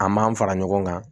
A m'an fara ɲɔgɔn kan